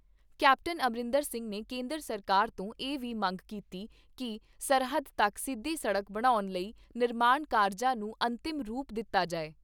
Captain Amarinder Singh ਨੇ ਕੇਂਦਰ ਸਰਕਾਰ ਤੋਂ ਇਹ ਵੀ ਮੰਗ ਕੀਤੀ ਕਿ ਸਰਹੱਦ ਤੱਕ ਸਿੱਧੀ ਸੜਕ ਬਣਾਉਣ ਲਈ ਨਿਰਮਾਣ ਕਾਰਜਾਂ ਨੂੰ ਅੰਤਿਮ ਰੂਪ ਦਿੱਤਾ ਜਾਏ।